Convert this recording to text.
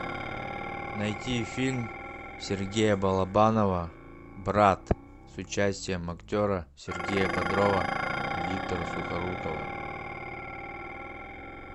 найти фильм сергея балабанова брат с участием актера сергея бодрова и виктора сухорукова